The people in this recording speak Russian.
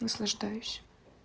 наслаждаюсь